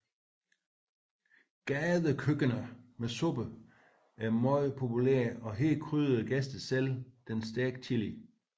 Gadekøkkener med suppe er meget populære og her krydrer gæsten selv den stærke chili